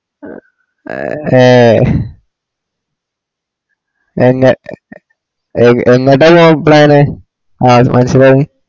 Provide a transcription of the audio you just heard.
അ ഏ എങ്ങ എങ്ങട്ടാ പോകാൻ plan ന് ആ എനക്ക് മനസിലായിനി